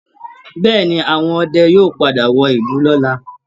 Bẹ́ẹ̀́ẹ̀ ni, àwọn ọdẹ yóò padà wọ ìlú lọ́la